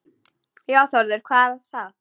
Já Þórður, hvað var það?